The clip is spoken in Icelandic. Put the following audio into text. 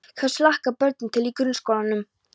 Hvers hlakka börnin til í grunnskólanum?